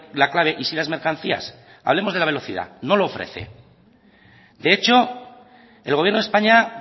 la clave y sí las mercancías hablemos de la velocidad no lo ofrece de hecho el gobierno de españa